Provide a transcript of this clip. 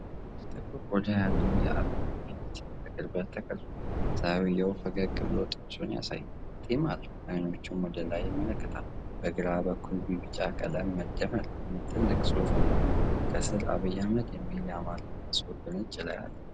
ጥቁር ቆዳ ያለው የአብይ ፊት በቅርበት ተቀርጿል። ሰውየው ፈገግ ብሎ ጥርሱን ያሳያል፤ ጢም አለው፤ አይኖቹም ወደ ላይ ይመለከታሉ። በግራ በኩል በቢጫ ቀለም "መደመር" የሚል ትልቅ ጽሑፍና ከስር "አብይ አህመድ" የሚል የአማርኛ ጽሑፍ በነጭ ላይ አለ።